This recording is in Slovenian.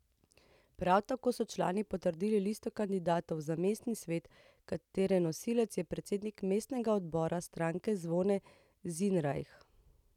Prav tako so člani potrdili listo kandidatov za mestni svet, katere nosilec je predsednik mestnega odbora stranke Zvone Zinrajh.